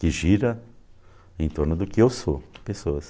Que gira em torno do que eu sou, pessoas.